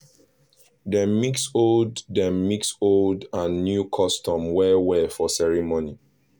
dem mix old dem mix old and new custom well well for celebration